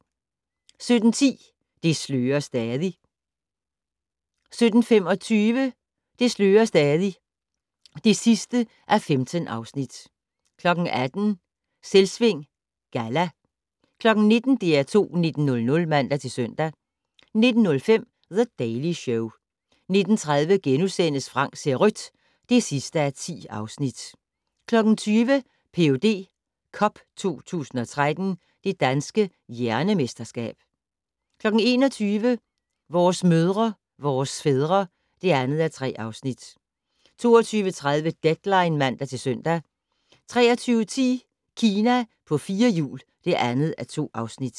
17:10: Det slører stadig 17:25: Det slører stadig (15:15) 18:00: Selvsving Galla 19:00: DR2 19:00 (man-søn) 19:05: The Daily Show 19:30: Frank ser rødt (10:10)* 20:00: Ph.D. Cup 2013 - Det Danske Hjernemesterskab 21:00: Vores mødre, vores fædre (2:3) 22:30: Deadline (man-søn) 23:10: Kina på fire hjul (2:2)